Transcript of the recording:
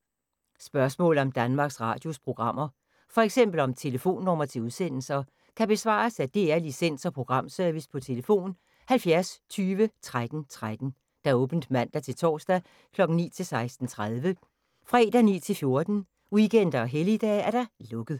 Spørgsmål om Danmarks Radios programmer, f.eks. om telefonnumre til udsendelser, kan besvares af DR Licens- og Programservice: tlf. 70 20 13 13, åbent mandag-torsdag 9.00-16.30, fredag 9.00-14.00, weekender og helligdage: lukket.